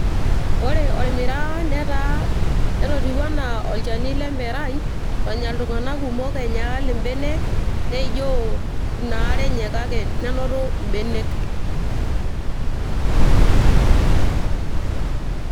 ore ormiraa netototiwuo enaa olchani lemerai olnya iltung'anak kumok, neijoo ina are enye nenotu irmenek.